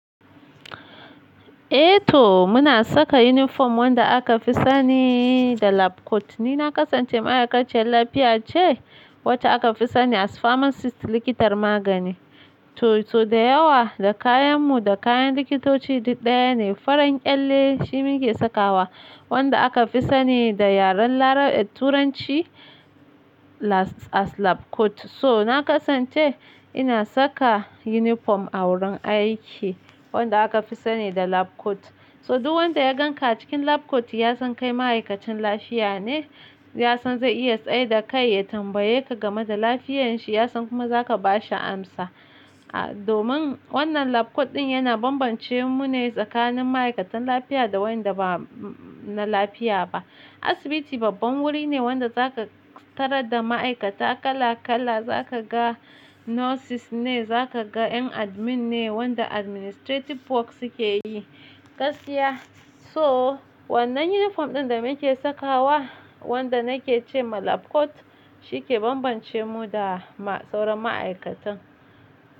Eh to muna saka uniform wanda aka fi sani da lab coat. Ni na ƙasance ma'aikaciyar lafiya ce wacce aka fi sani as pharmacist, likitar magani. To, to da yawa da kayan mu da kayan likitoci duk ɗaya ne. Farar kyalle shi muke sakawa wanda aka fi sani da yaren Larab-- Turanci last-- as lab coat. So na ƙasance ina saka uniform a wurin aiki wanda aka fi sani da lab coat. To duk wanda ya ganka a cikin lab coat ya san kai ma'aikacin lafiya ne. Ya san zai iya tsai da kai ya tambaye ka game da lafiyan shi. Ya san kuma za ka ba shi amsa. A domin wannan lab coat ɗin yana bambance mu ne tsakanin ma'aikatan lafiya da waɗanda ba na lafiya ba. Asibiti babban wuri ne wanda za ka tarar da ma'aikata kala kala. Za ka ga nurses ne, za ka ga ƴan admin ne, waɗanda administrative work suke yi, gaskiya. So wannan uniform ɗin da muke sakawa wanda nake ce ma lab coat shi ke bambance mu da sauran ma'aikatan.